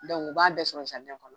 u b'a bɛɛ sɔrɔ kɔnɔ.